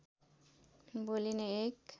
बोलिने एक